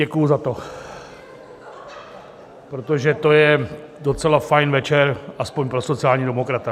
Děkuji za to, protože to je docela fajn večer alespoň pro sociálního demokrata.